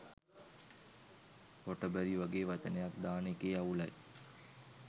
හොටබරි වගේ වචනයක් දාන එකේ අවුලයි